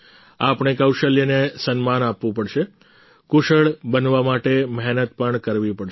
આપણે કૌશલ્યને સન્માન આપવું પડશે કુશળ બનવા માટે મહેનત પણ કરવી પડશે